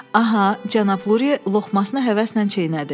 Aha, cənab Lurie loğmasını həvəslə çeynədi.